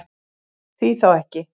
Því þá ekki?